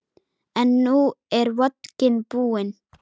En nú er vodkinn búinn.